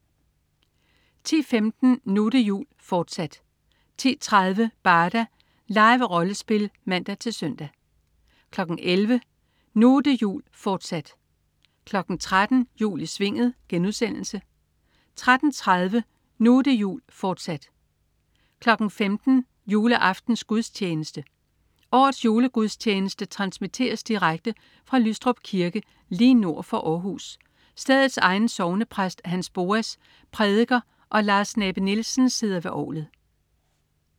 10.15 Nu' det jul, fortsat 10.30 Barda. Live-rollespil (man-søn) 11.00 Nu' det jul, fortsat 13.00 Jul i Svinget* 13.30 Nu' det jul, fortsat 15.00 Juleaftensgudstjeneste. Årets julegudstjeneste transmitteres direkte fra Lystrup Kirke lige nord for Århus. Stedets egen sognepræst, Hans Boas, prædiker, og Lars Nabe-Nielsen sidder ved orglet